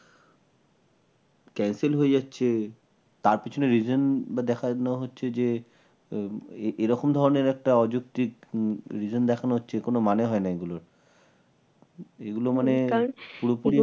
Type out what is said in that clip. cancel হয়ে যাচ্ছে তার পেছনের reason দেখানো হচ্ছে যে এরকম ধরনের একটা অযৌক্তিক reason দেখানোর কোন মানে হয় না এগুলো, এগুলো মানে পুরোপুরি